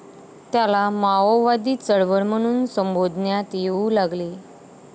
त्याला माओवादी चळवळ म्हणून संबोधण्यात येऊ लागले